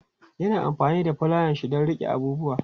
Ya na amfani da fulayanshi don riƙe abubuwa.